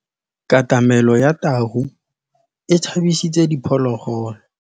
Katamêlô ya tau e tshabisitse diphôlôgôlô.